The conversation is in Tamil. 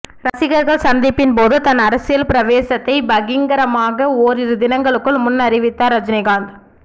ரசிகர்கள் சந்திப்பின்போது தன் அரசியல் பிரவேசத்தை பகிரங்கமாக ஓரிரு தினங்களுக்கு முன் அறிவித்தார் ரஜினிகாந்த்